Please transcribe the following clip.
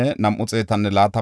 Basaya yaray 323;